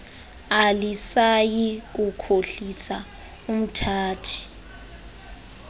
alisayi kukhohlisa umthathi